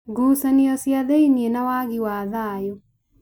ngucanio cia thĩiniĩ na wagi wa thayũ